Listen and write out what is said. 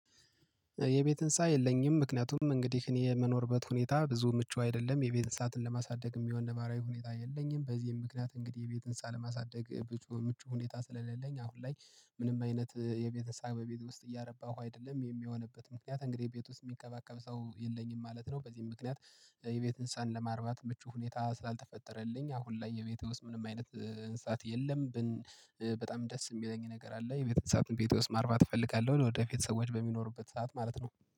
የቤት ህንፃ የለኝም ምክንያቱም እንግዲህ እኔ የመኖርበት ሁኔታ ብዙም ምቹ አይደለም የቤት እንሰሳትን ለማሳደግ የሚሆን ነባራዊ ሁኔታ የለኝም በዚህም ምክንያት እንግዲህ የቤት ህንፃ ለማሳደግ ምቹ ሁኔታ ስለሌለኝ አሁን ላይ ምንም አይነት የቤተሰብ በቤት ውስጥ እያረባሁ አይደለም የሚሆንበት ምክንያት እንግዲህ ቤት ውስጥ የሚከባከብ ሰው የለኝም ማለት ነው በዚህም ምክንያት የቤት እንስሳን ለማርባት ምቹ ሁኔታ ስላልተፈጠረልኝ አሁን ላይ የቤቴ ውስጥ ምንም አይነት እንስሳት የለም ብን በጣም ደስ የሚለኝ ነገር አለ የቤተንሳትን ቤቴ ውስጥ ማርባት እፈልጋለሁ ወደፊት ሰዎች በሚኖሩበት ሰዓት ማለት ነው።